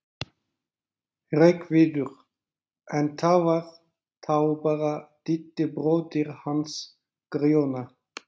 Hreggviður, en það var þá bara Diddi bróðir hans Grjóna.